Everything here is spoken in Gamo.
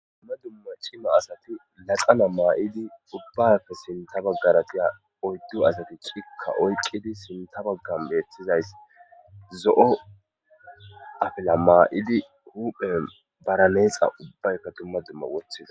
Tumma dumma cima asati laxana maa7idi ubbakka sinta baggaratiya oyddu asati cikka oyqidi sinta baggan bettizays zo7o afila maa7idi huphe baraneexa ubbaykka tumma dumma woththiza.